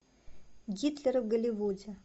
гитлер в голливуде